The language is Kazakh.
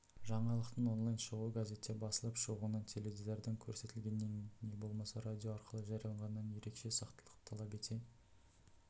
жаңалықтың онлайн шығуы газетте басылып шығуынан теледидардан көрсетілгенінен не болмаса радио арқылы жарияланғанынан ерекше сақтықты талап ете